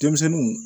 Denmisɛnninw